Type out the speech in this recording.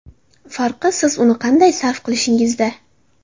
Farqi, siz uni qanday sarf qilishingizda.